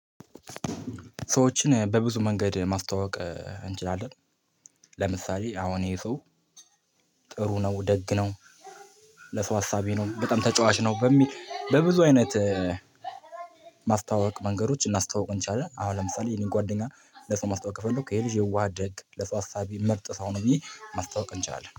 ሰዎችን በብዙ መንገድ ማስተዋወቅ እንችላለን። ለምሳሌ አሁን ይሄ ሰው ጥሩ ነው ደግ ነው። ለሰው አሳቢ ነው በጣም ተጫዋች ነው በሚል በብዙ አይነት። ማስታወቅ መንገዶች እናስተዋውቁን እንችላለን። አሁን ለምሳሌ ይሄንን ጓደኛ ለሰው ማስታወቅ ፈለኩ ይሄ ልጅ የዋህ ደግ ለሷ አሳቢ ምርጥ ሰው ነበዬ ማስታወቅ እንችላለን